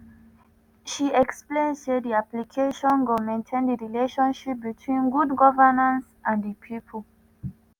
she explain say di application go maintain di relationship between good governance and di pipo.